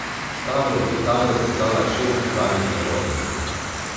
Ta bo v Italijo poslala šest bivalnih zabojnikov.